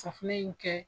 Safunɛ in kɛ